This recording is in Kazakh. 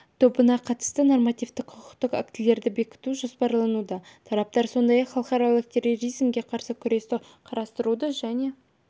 тобына қатысты нормативтік құқықтық актілерді бекіту жоспарлануда тараптар сондай-ақ халықаралық терроризмге қарсы күресті қарастыруды және